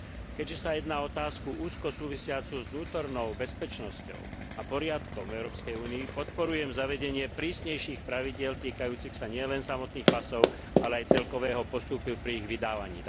Keďže sa jedná o otázku úzko súvisiacu s vnútornou bezpečnosťou a poriadkom Európskej únii, podporujem zavedenie prísnejších pravidiel týkajúcich sa nielen samotných pasov, ale aj celkového postupu pri ich vydávaní.